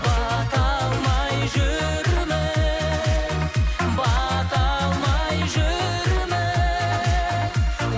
бата алмай жүрміз бата алмай жүрміз